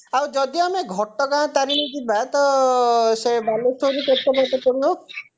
ଆଉ ଯଦି ଆମେ ଘଟଗାଁ ତାରିଣୀ ଯିବା ତ ଆଁ ସେ ବାଲେଶ୍ଵରରୁ କେତେ ବାଟ ପଡିବ